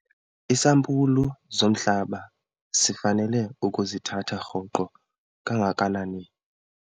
Iisampulu zomhlaba sifanele ukuzithatha rhoqo kangakanani?